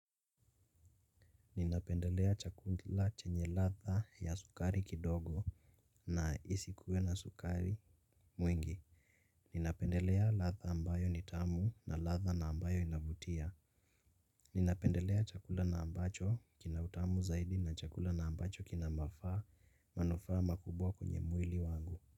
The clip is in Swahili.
Ninapendelea chakula chenye ladha ya sukari kidogo na isikuwe na sukari mwingi. Ninapendelea ladha ambayo ni tamu na ladha na ambayo inavutia. Ninapendelea chakula na ambacho kinautamu zaidi na chakula na ambacho kina mafaa manufaa makubwa kwenye mwili wangu.